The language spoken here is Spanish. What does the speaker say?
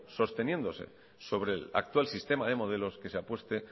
sosteniéndose sobre el actual sistema de modelos que se apueste